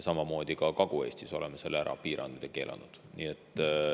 Samamoodi oleme ka Kagu-Eestis selle ära piiranud ja keelanud.